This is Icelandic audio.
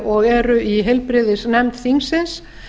og eru í heilbrigðisnefnd þingsins